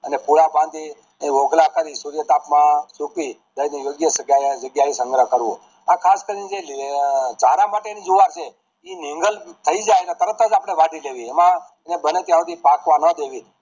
અને પૂળા માંથી ઓઘલા કરી સૂર્યતાપ માં સુકવી તેનો યોગ્ય જગ્યા એ સંગ્રહ કરવો આ ખાસ કરી ને ધારા માટેની જુવાર છે ઈ મિનરલ થાય જાય તરત જ આપડે વાઢી દેવી એમાં બને થાય શુદ્ધિ પાકવા ના દેવું